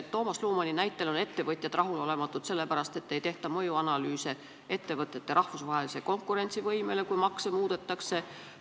Toomas Lumani näitel on ettevõtjad rahulolematud sellepärast, et ei tehta analüüse, milline on mõju ettevõtete rahvusvahelisele konkurentsivõimele, kui makse muudetakse.